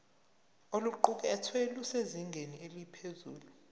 oluqukethwe lusezingeni eliphezulu